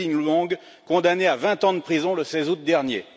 Dinh Luong, condamné à vingt ans de prison le 16 août dernier.